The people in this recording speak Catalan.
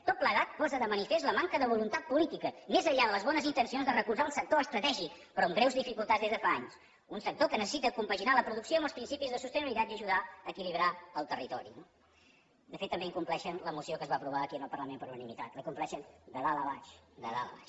tot plegat posa de manifest la manca de voluntat política més enllà de les bones intencions de recolzar un sector estratègic però amb greus dificultats des de fa anys un sector que necessita compaginar la producció amb els principis de sostenibilitat i ajudar a equilibrar el territori no de fet també incompleixen la moció que es va aprovar aquí en el parlament per unanimitat la incompleixen de dalt a baix de dalt a baix